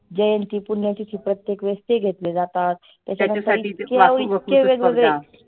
जयंती, पुण्यतिथी प्रत्येक वेळेस ते घेतले जातात. त्यात इतके इतके वेगवेगळे